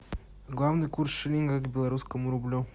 главный курс шиллинга к белорусскому рублю